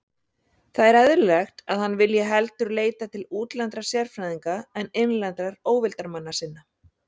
Það er eðlilegt, að hann vilji heldur leita til útlendra sérfræðinga en innlendra óvildarmanna sinna.